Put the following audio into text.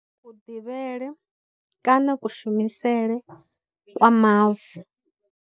Ku ḓivhele, kana kushumisele kwa mavu.